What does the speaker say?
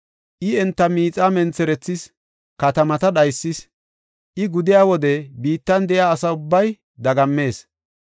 I enta miixaa mentherethis; katamata dhaysis; I gudiya wode biittan de7iya asa ubbay dagammees.